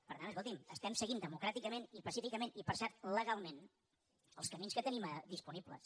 per tant escolti’m estem seguint democràticament i pacíficament i per cert legalment els camins que tenim disponibles